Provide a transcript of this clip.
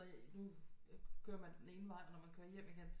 Nu kører man den ene vej når man kører hjem igen